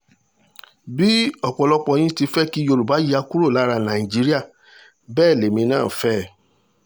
bí ọ̀pọ̀lọpọ̀ yín ti fẹ́ kí yorùbá yà kúrò lára nàìjíríà bẹ́ẹ̀ lèmi náà fẹ́